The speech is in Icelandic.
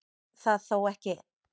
Það þó ekki